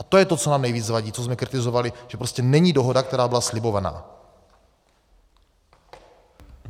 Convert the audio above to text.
A to je to, co nám nejvíc vadí, co jsme kritizovali, že prostě není dohoda, která byla slibována.